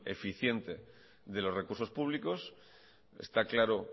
deficiente de los recursos públicos está claro